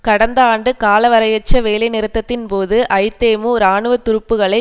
கடந்த ஆண்டு காலவரையறையற்ற வேலை நிறுத்தத்தின் போது ஐதேமு இராணுவ துருப்புக்களை